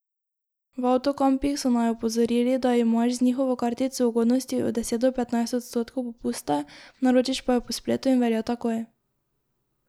V avtokampih so naju opozorili, da imaš z njihovo kartico ugodnosti od deset do petnajst odstotkov popusta, naročiš pa jo po spletu in velja takoj.